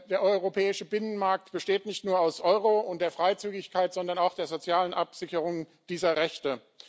Der europäische Binnenmarkt besteht nicht nur aus dem Euro und der Freizügigkeit, sondern auch aus der sozialen Absicherung dieser Rechte.